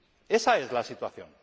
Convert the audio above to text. Esa es la situación.